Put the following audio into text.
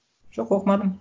жоқ оқымадым